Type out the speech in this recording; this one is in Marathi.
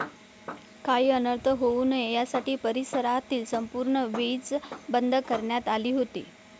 काही अनर्थ होऊ नये यासाठी परिसरातील संपूर्ण वीज बंद करण्यात आली होती.